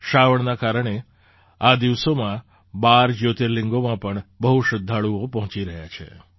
શ્રાવણના કારણે આ દિવસોમાં ૧૨ જ્યોતિર્લિંગોમાં પણ બહુ શ્રદ્ધાળુઓ પહોંચી રહ્યા છે